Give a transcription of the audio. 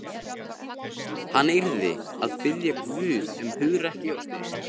Hann yrði að biðja Guð um hugrekki og styrk.